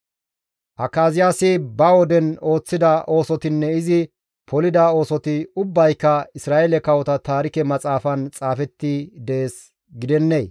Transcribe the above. Akaziyaasi ba woden ooththida oosotinne izi polida oosoti ubbayka Isra7eele kawota taarike maxaafan xaafetti dees gidennee?